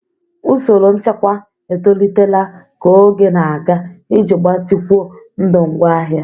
Usoro nchekwa etolitela ka oge na-aga iji gbatịkwuo ndụ ngwaahịa.